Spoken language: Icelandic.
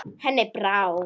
Henni brá.